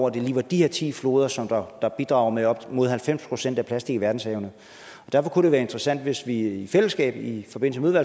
at det lige var de her ti floder som der bidrager med op mod halvfems procent af plastik i verdenshavene og derfor kunne det være interessant hvis vi i fællesskab i forbindelse med